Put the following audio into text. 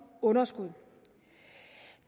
underskud